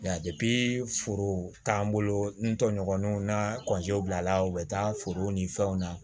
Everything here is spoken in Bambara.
foro t'an bolo n tɔɲɔgɔnw na kɔnti bila la u bɛ taa foro ni fɛnw na